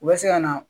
U bɛ se ka na